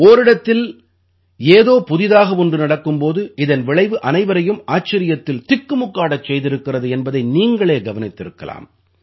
ஓரிடத்தில் ஏதோ புதிதாக ஒன்று நடக்கும் போது இதன் விளைவு அனைவரையும் ஆச்சரியத்தில் திக்குமுக்காடச் செய்திருக்கிறது என்பதை நீங்களே கவனித்திருக்கலாம்